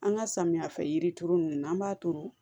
An ka samiya fɛ yiri turu ninnu n'an b'a turu